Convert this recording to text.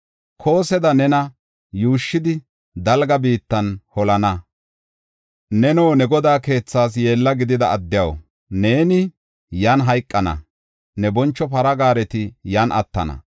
Kooseda nena yuushshidi dalga biittan holana. Neno ne godaa keethaas yeella gidida addiyaw neeni yan hayqana; ne boncho para gaareti yan attana.